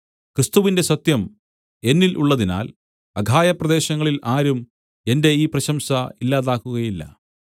ക്രിസ്തുവിന്റെ സത്യം എന്നിൽ ഉള്ളതിനാൽ അഖായപ്രദേശങ്ങളിൽ ആരും എന്റെ ഈ പ്രശംസ ഇല്ലാതാക്കുകയില്ല